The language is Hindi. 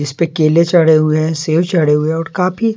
इसपे केले चढ़े हुए हैं सेब चढ़े हुए हैं और काफी --